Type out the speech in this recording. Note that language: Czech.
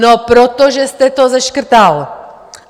No protože jste to seškrtal!